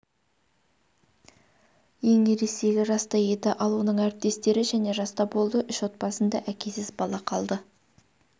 ең ересегі жаста еді ал оның әріптестері және жаста болды үш отбасында әкесіз бала қалды